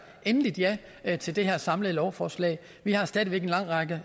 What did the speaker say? endeligt ja ja til det her samlede lovforslag vi har stadig væk en lang række